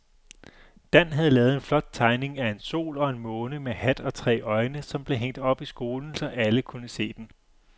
Dan havde lavet en flot tegning af en sol og en måne med hat og tre øjne, som blev hængt op i skolen, så alle kunne se den.